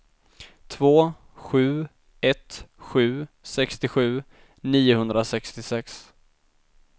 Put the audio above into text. två sju ett sju sextiosju niohundrasextiosex